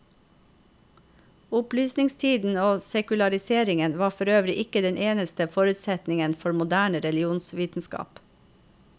Opplysningstiden og sekulariseringen var forøvrig ikke den eneste forutsetningen for moderne religionsvitenskap.